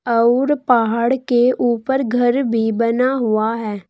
अउर पहाड़ के ऊपर घर भी बना हुआ है।